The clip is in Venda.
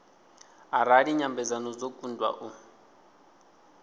arali nyambedzano dzo kundwa u